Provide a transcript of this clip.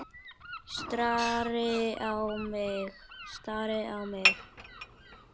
Stari á mig.